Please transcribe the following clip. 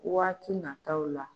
Waati nataw la.